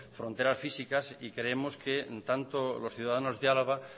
fronteras físicas y creemos que tanto los ciudadanos de álava